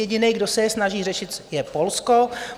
Jediný, kdo se je snaží řešit, je Polsko.